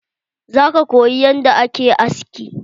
Zo ka koyi yanda ake aski.